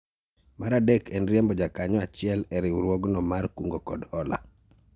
Mar adek en riembo jakanyo achiel e riwruogno mar kungo kod hola